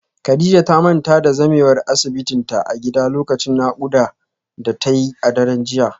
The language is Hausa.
Kadijah ta manta da zamewar asibitinta a gida lokacin naƙuda da ta yi a daren jiya